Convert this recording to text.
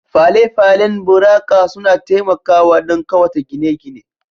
Fale-falen buraka suna taimakawa don ƙawata gine-gine